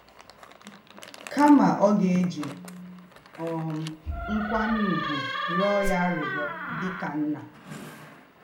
Kama, ọ ga-eji um nkwanye ùgwù rịọ ya arịrịọ dị ka nna.